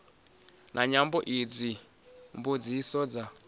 ya nyambo idzi mbudziso dza